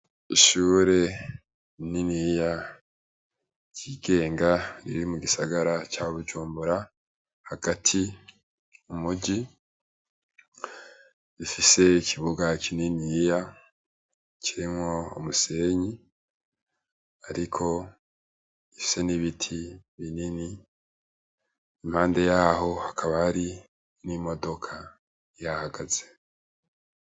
Ishure rininiya ryigenga riri mu gisagara ca bujumbura hagati mumuji rifise ikibuga kininiya kirimwo umusenyi ariko gifise n'ibiti binini, impande yaho hakaba hari n'imodoka ihahagaze.